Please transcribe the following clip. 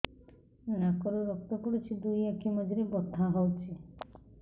ନାକରୁ ରକ୍ତ ପଡୁଛି ଦୁଇ ଆଖି ମଝିରେ ବଥା ହଉଚି